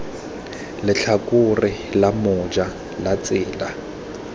letlhakore la moja la tsela